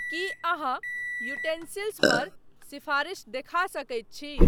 की अहाँ यूटेंसिल्स पर सिफारिश देखा सकैत छी?